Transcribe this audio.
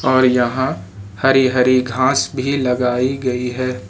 और यहां हरी हरी घास भी लगाई गई है।